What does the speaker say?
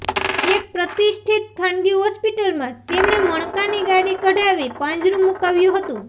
એક પ્રતિષ્ઠિત ખાનગી હોસ્પિટલમાં તેમણે મણકાની ગાડી કઢાવી પાંજરું મુકાવ્યું હતું